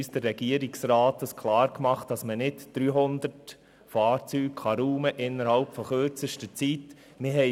Der Regierungsrat hat uns klar gemacht, dass man nicht 300 Fahrzeuge innerhalb von kürzester Zeit räumen kann.